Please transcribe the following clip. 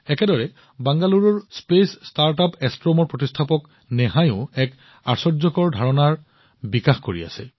একেদৰে বাংগালুৰুৰ মহাকাশ ষ্টাৰ্টআপ এষ্ট্ৰোমৰ প্ৰতিষ্ঠাপক নেহাইও এক আশ্চৰ্যকৰ ধাৰণাৰ ওপৰত কাম কৰি আছে